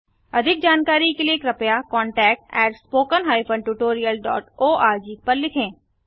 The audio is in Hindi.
अधिक जानकारी के लिए कृपया contactspoken tutorialorg पर लिखें